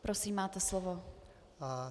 Prosím, máte slovo.